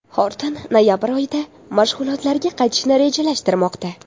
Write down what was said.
Xorton noyabr oyida mashg‘ulotlarga qaytishni rejalashtirmoqda.